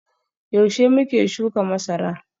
Yaushe muke shuka masara?